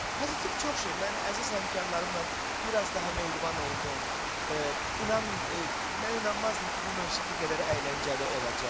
Pozitiv çox şey, mən əziz həmkarlarımla biraz daha mehriban oldum, inanın, mən inanmazdım ki, bu mövsüm bu qədər əyləncəli olacaq.